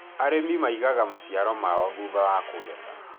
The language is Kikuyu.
arĩmi maĩgaga maciaro mao thuhta wa kugetha